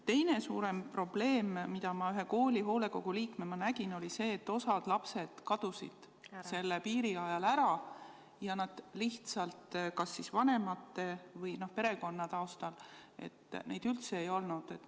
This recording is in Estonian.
Teine suurem probleem, mida ma ühe kooli hoolekogu liikmena nägin, oli see, et osa lapsi kadus selle kriisi ajal kas vanemate või perekonna taustal lihtsalt ära, neid üldse ei olnud.